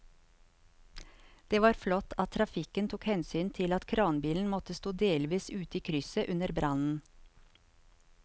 Det var flott at trafikken tok hensyn til at kranbilen måtte stå delvis ute i krysset under brannen.